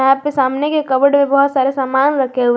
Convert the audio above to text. यहां पे सामने के कबड में बहोत सारे सामान रखे हुए--